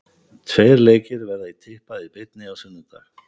Tveir leikir verða í Tippað í beinni á sunnudag.